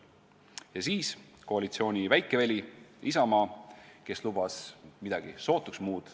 Ja siis koalitsiooni väikeveli Isamaa, kes lubas midagi sootuks muud.